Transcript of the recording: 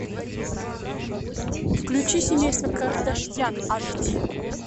включи семейство кардашьян аш ди